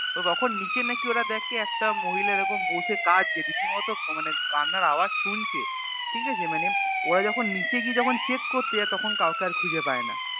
তো তখন নিচে নাকি ওরা দেখে একটা মহিলা এরকম বসে কাদঁছে রীতিমত মানে কান্নার আওয়াজ শুনছে ঠিকাছে মানে ওরা যখন নিচে গিয়ে যখন Check করতে যায় তখন কাউকে আর খুঁজে পায়না